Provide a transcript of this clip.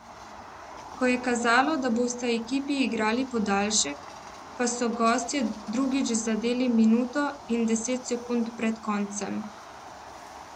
Ko je kazalo, da bosta ekipi igrali podaljšek, pa so gostje drugič zadeli minuto in deset sekund pred koncem.